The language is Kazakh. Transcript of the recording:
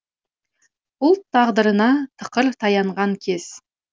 ұлт тағдырына тықыр таянған кез